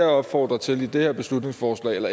opfordrer til i det her beslutningsforslag